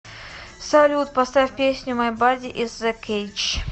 салют поставь песню май бади ис э кейдж